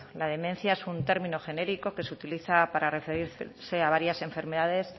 la demencia es un término genérico que se utiliza para referirse a varias enfermedades